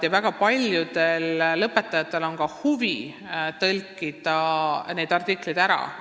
Väga paljudel lõpetajatel on ka huvi need artiklid ära tõlkida.